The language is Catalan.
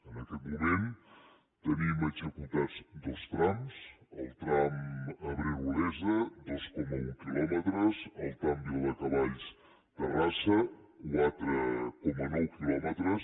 en aquest moment tenim executats dos trams el tram abrera olesa dos coma un quilòmetres el tram viladecavalls terrassa quatre coma nou quilòmetres